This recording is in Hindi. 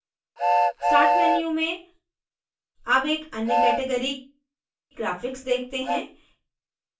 start menu में अब एक अन्य categorygraphics देखते हैं